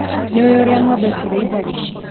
Nĩũĩ ũrĩa ngombe cirĩithagio.